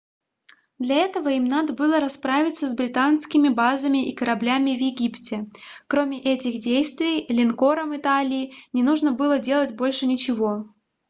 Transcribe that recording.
для этого им надо было расправиться с британскими базами и кораблями в египте кроме этих действий линкорам италии не нужно было делать больше ничего